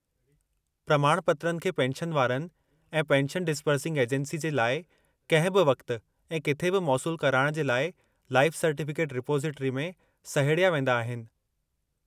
प्रमाणपत्रनि खे पेंशनवारनि ऐं पेंशन डिसबर्सिंग एजेंसी जे लाइ कंहिं बि वक़्त ऐं किथे बि मौसूलु कराइणु जे लाइ लाइफ सर्टिफ़िकेट रिपोसिट्री में सहेड़िया वेंदा आहिनि।